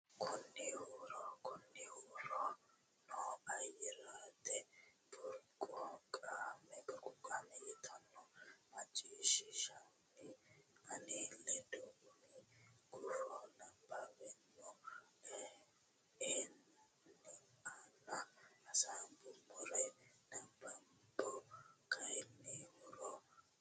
kayinni huuro ne ayyerete burquuqama yitanno maciishshiishshinanni ane ledo umi gufo nabbaweemmo a nena hasaambummori nabbambo kayinni huuro ne ayyerete.